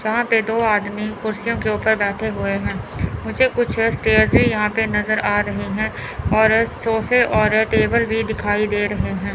जहां पे दो आदमी कुर्सियों के ऊपर बैठे हुए हैं मुझे कुछ स्टेयर्स भी यहां पे नज़र आ रही हैं और सोफे और टेबल भी दिखाई दे रहे हैं।